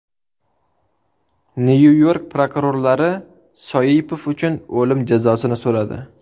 Nyu-York prokurorlari Soipov uchun o‘lim jazosini so‘radi .